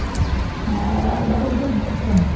அஹ் அதெல்லாம் அது பாட்டுக்கு போயிட்டிருக்கு